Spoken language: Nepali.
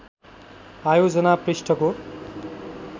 आयोजना पृष्ठको